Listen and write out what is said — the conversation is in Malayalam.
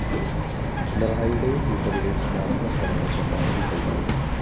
പിണറായിയുടെയും കൂട്ടരുടെയും സമാധാനശ്രമങ്ങള്‍ പരമാവധി കഴിഞ്ഞു